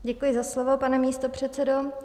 Děkuji za slovo, pane místopředsedo.